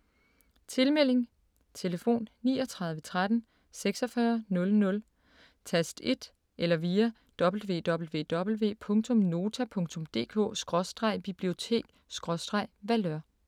Tilmelding: Tlf. 39 13 46 00 tast 1 eller via www.nota.dk/bibliotek/Valeur